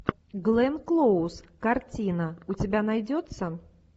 гленн клоуз картина у тебя найдется